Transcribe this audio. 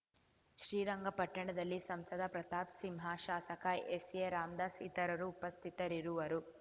ಶ್ರೀರಂಗಪಟ್ಟಣದಲ್ಲಿ ಸಂಸದ ಪ್ರತಾಪ್‌ ಸಿಂಹ ಶಾಸಕ ಎಸ್‌ಎರಾಮದಾಸ್‌ ಇತರರು ಉಪಸ್ಥಿತರಿರುವರು